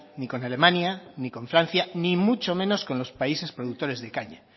ni con alemania ni con francia ni mucho menos con los países productores de caña